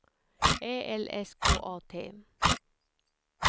Ä L S K A T